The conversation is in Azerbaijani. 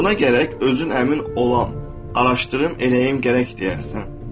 Buna gərək özün əmin olam, araşdırım, eləyim gərək deyərsən.